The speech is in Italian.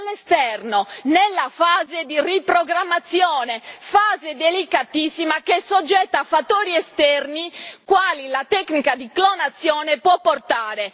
Quindi all'esterno, nella fase di riprogrammazione, fase delicatissima che è soggetta a fattori esterni quali la tecnica di clonazione può portare.